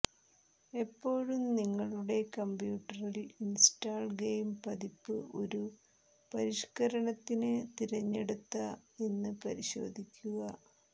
എപ്പോഴും നിങ്ങളുടെ കമ്പ്യൂട്ടറിൽ ഇൻസ്റ്റാൾ ഗെയിം പതിപ്പ് ഒരു പരിഷ്കരണത്തിന് തിരഞ്ഞെടുത്ത എന്ന് പരിശോധിക്കുക